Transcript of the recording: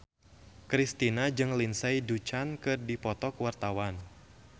Kristina jeung Lindsay Ducan keur dipoto ku wartawan